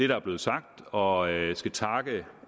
der er blevet sagt og jeg skal takke